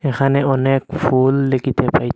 এখানে অনেক ফুল দেখিতে পাইতে--